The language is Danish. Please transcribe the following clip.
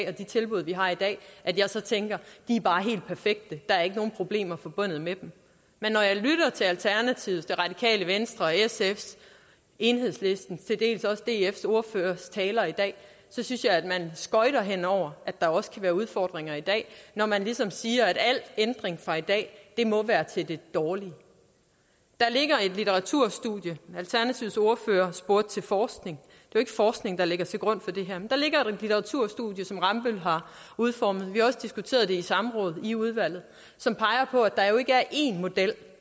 og de tilbud de har i dag at jeg så tænker de bare helt perfekte der er ikke nogen problemer forbundet med dem men når jeg lytter til alternativets det radikale venstres sfs enhedslistens og til dels også dfs ordføreres taler i dag synes jeg at man skøjter hen over at der også kan være udfordringer i dag når man ligesom siger at al ændring fra i dag må være til det dårlige der ligger et litteraturstudie alternativets ordfører spurgte til forskning det jo ikke forskning der ligger til grund for det her der ligger et litteraturstudie som rambøll har udformet vi har også diskuteret det i samråd i udvalget som peger på at der jo ikke er én model